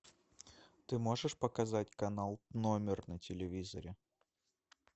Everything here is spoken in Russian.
ты можешь показать канал номер на телевизоре